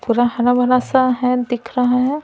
पूरा हरा भरा सा है दिख रहा है।